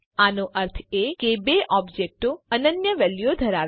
આનો અર્થ એ કે બે ઓબજેક્ટો અનન્ય વેલ્યુઓ ધરાવે છે